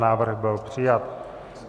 Návrh byl přijat.